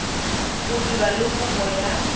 go dira le kopo ya